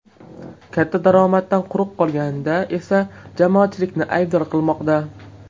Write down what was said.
Katta daromaddan quruq qolganida esa jamoatchilikni aybdor qilmoqda .